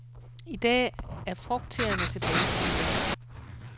I dag er frugtteeerne tilbage på hylderne.